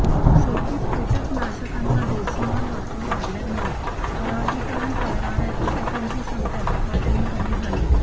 शेतीत किटकनाशकांचा बेसुमार वापर वाढल्यामुळे परागीकरण करणाऱ्या किटकांची संख्या झपाट्याने कमी झाली